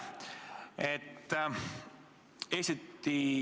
Aitäh!